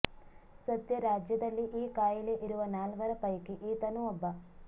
ಸದ್ಯ ರಾಜ್ಯದಲ್ಲಿ ಈ ಕಾಯಿಲೆ ಇರುವ ನಾಲ್ವರ ಪೈಕಿ ಈತನೂ ಒಬ್ಬ